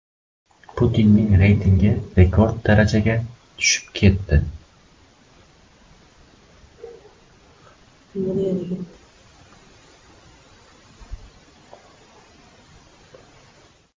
Putinning reytingi rekord darajada tushib ketdi.